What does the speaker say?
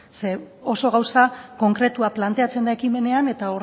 zeren oso gauza konkretua planteatzen da ekimenean eta